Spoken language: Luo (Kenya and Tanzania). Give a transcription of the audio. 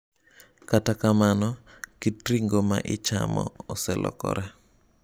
Kata kamano, kit ring'o ma ichamo oselokore.